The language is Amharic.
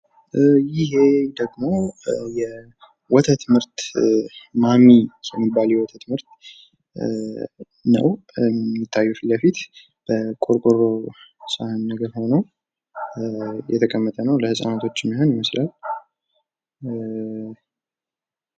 ይህ ደግሞ ወተት ምርት ማሚ የሚባል የወተት ምርት ነው የሚታየው ፊትለፊት በቆርቆሮ ሳህን ሆኖ የተቀመጠ ነው ለህፃናቶች ይመስላል።